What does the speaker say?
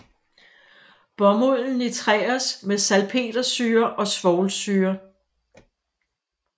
Bomulden nitreres med salpetersyre og svovlsyre